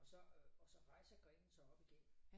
Og så øh og så rejser grenen sig op igennem